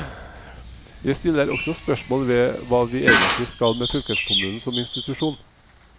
Jeg stiller også spørsmål ved hva vi egentlig skal med fylkeskommunen som institusjon.